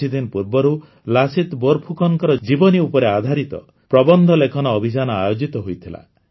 କିଛିଦିନ ପୂର୍ବରୁ ଲାସିତ ବୋର ଫୁକନଙ୍କ ଜୀବନୀ ଉପରେ ଆଧାରିତ ପ୍ରବନ୍ଧ ଲେଖନ ଅଭିଯାନ ଆୟୋଜିତ ହୋଇଥିଲା